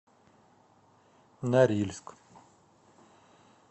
норильск